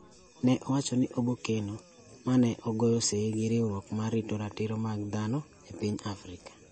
ne owacho ni obokeno, ma ne ogoye sei gi riwruok mar rito ratiro mag dhano e piny Afrika,